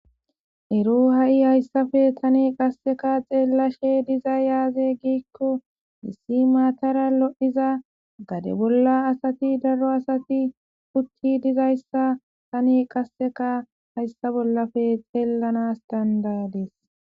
Ero ha'i hayssafe tani qasseka xeellashe diza yaaze giikko issi maatara lod7iza gade bolla asati daro asati putti dizayssa tani qasseka hayssa bollafe xeellana danida'adis.